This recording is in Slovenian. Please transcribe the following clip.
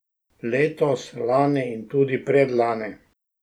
Letos, lani in tudi predlani.